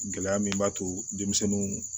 Gɛlɛya min b'a to denmisɛnninw